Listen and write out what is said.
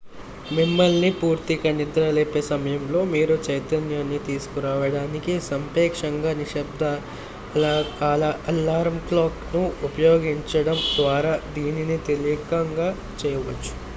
మిమ్మల్ని పూర్తిగా నిద్రలేపే సమయంలో మీరు చైతన్యాన్ని తీసుకురావడానికి సాపేక్షంగా నిశ్శబ్దఅలారం క్లాక్ ను ఉపయోగించడం ద్వారా దీనిని తేలికగా చేయవచ్చు